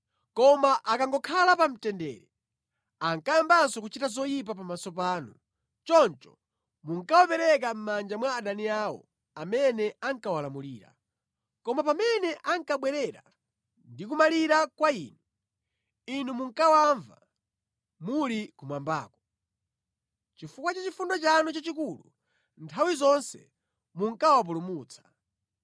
“Koma akangokhala pa mtendere ankayambanso kuchita zoyipa pamaso panu. Choncho munkawapereka mʼmanja mwa adani awo amene ankawalamulira. Komabe pamene ankabwerera ndi kumalira kwa Inu, Inu munkawamva muli kumwambako. Chifukwa cha chifundo chanu chochuluka, nthawi zonse munkawapulumutsa.